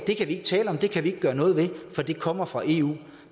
kan vi ikke tale om det kan vi ikke gøre noget ved for det kommer fra eu